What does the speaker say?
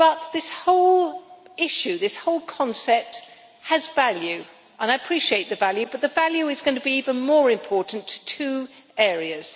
This whole concept has value and I appreciate the value, but the value is going to be even more important to two areas.